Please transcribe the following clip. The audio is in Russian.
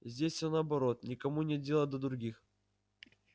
здесь всё наоборот никому нет дела до других